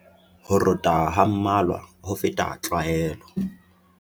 Ho rota ha mmalwa ho feta tlwaelo.